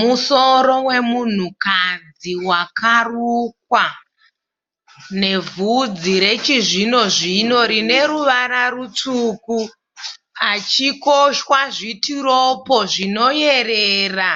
Musoro wemunhukadzi wakarukwa nevhudzi rechizvino zvino rine ruvara rutsvuku, pachikoshwa zvitiropo zvinoyerera